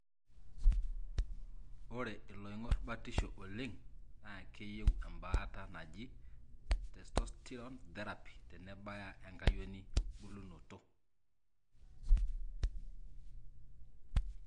ore iloingor batisho oleng na keyieu embaata naji testosterone therapy tenebaya enkayioni bulunoto.